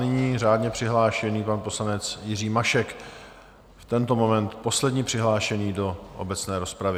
Nyní řádně přihlášený pan poslanec Jiří Mašek, v tento moment poslední přihlášený do obecné rozpravy.